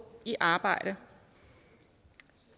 i arbejde